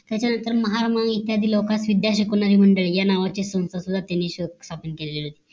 त्याच्या नंतर महार महू इत्यादी लोकांस विद्या शिकवण आहे मंडळ या नावाची संस्था सुद्धा त्यांनी शोध स्थापन केली होती